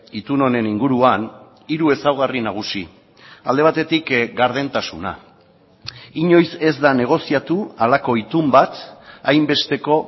itun honen inguruan hiru ezaugarri nagusi alde batetik gardentasuna inoiz ez da negoziatu halako itun bat hainbesteko